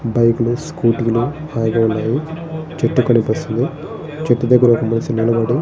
bike లు scooty లు ఆగి ఉన్నాయి చెట్టు కనిపిస్తుంది చెట్టు దగర ఒక మనిషి నిలబడి --